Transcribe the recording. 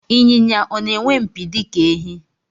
Ịnyịnya ọ na-enwe mpi dịka ehi?